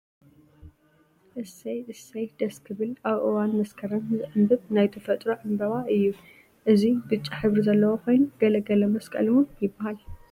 እሰይ! እሰይ! ደስ ክብል ኣብ እዋን መስከርም ዝዕንብብ ናይ ተፈጥሮ ዕንበባ እዩ እዚ ዕንበባ እዙይ ብጫ ሕብሪ ዘለዎ ኮይኑ ገልገለ መስቀለ እውን ይበሃል።